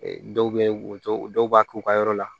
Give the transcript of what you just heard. Dɔw bɛ woto dɔw b'a k'u ka yɔrɔ la